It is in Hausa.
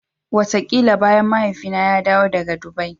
Wataƙila bayan Mahaifina ya dawo daga Dubai.